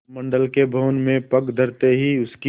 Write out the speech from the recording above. मंडल के भवन में पग धरते ही उसकी